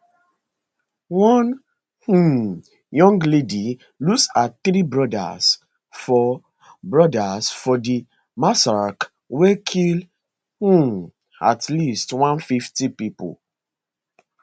one um young lady lose her three brodas for brodas for di massacre wey kill um at least 150 pipo